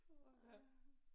Åh ha